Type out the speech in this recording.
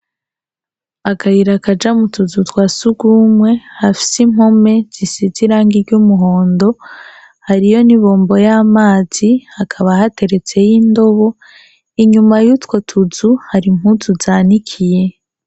Akayira kaja mutuzu twa sugumwe , hafis’impome zisize irangi ry’umuhondo, hariyo n’ibombo y’amazi, hakaba hateretsey’indobo , inyuma yutwo tuzu, har’impuzu zanikiye.